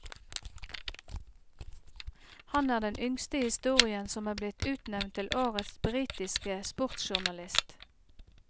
Han er den yngste i historien som er blitt utnevnt til årets britiske sportsjournalist.